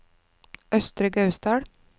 Østre Gausdal